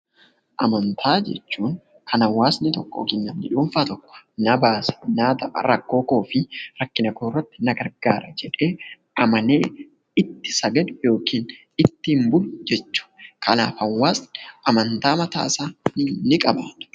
Amantii jechuun kan hawaasni tokko yookiin namni dhuunfaa tokko na baasa, naaf ta'a , rakkoo koo keessatti na gargaara jedhee amanee itti sagadu yookiin ittiin bulu jechuudha. Kanaaf hawaasni amantaa mataa isaa ni qaba.